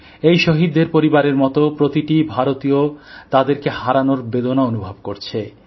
এই শহীদদের পরিবারের মতো প্রতিটি ভারতীয় তাদেরকে হারানোর বেদনা অনুভব করছে